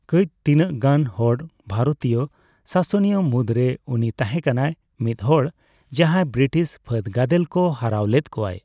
ᱠᱟᱹᱪ ᱛᱤᱱᱟᱜ ᱜᱟᱱ ᱦᱚᱲ ᱵᱷᱟᱨᱚᱛᱤᱭᱚ ᱥᱟᱥᱚᱱᱤᱭᱟᱹ ᱢᱩᱫᱨᱮ ᱩᱱᱤ ᱛᱟᱦᱮᱸᱠᱟᱱᱟᱭ ᱢᱤᱫᱦᱚᱲ, ᱡᱟᱦᱟᱸᱭ ᱵᱤᱴᱤᱥ ᱯᱷᱟᱹᱫᱜᱟᱫᱮᱞ ᱠᱚ ᱦᱟᱨᱟᱣ ᱞᱮᱫ ᱠᱚᱣᱟᱭ ᱾